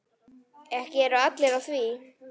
Ekki eru allir á því.